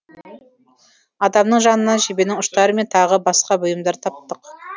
адамның жанынан жебенің ұштары мен тағы басқа бұйымдарды таптық